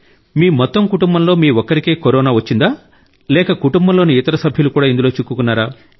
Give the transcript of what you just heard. మీ మొత్తం కుటుంబంలో మీ ఒక్కరికే కరోనా వచ్చిందా లేక కుటుంబంలోని ఇతర సభ్యులు కూడా ఇందులో చిక్కుకున్నారా